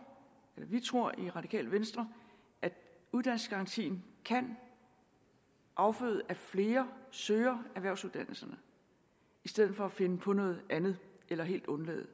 eller vi tror i det radikale venstre at uddannelsesgarantien kan afføde at flere søger erhvervsuddannelserne i stedet for at finde på noget andet eller helt undlade